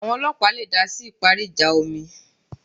Àwọn ọlọ́ọ̀pá le dásí ìparí ìjà omi